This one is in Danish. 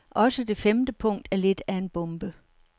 Også det femte punkt er lidt af en bombe.